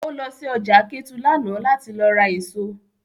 O lọ sí ọjà Kétu lánàá láti lọ ra èso